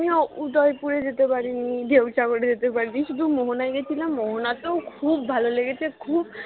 আমিও উদয় পুরে যেতে পারিনি ঢেউ সাগরে যেতে পারিনি শুধু মোহনায় গেছিলাম মোহনা তো খুব ভালো লেগেছে খুব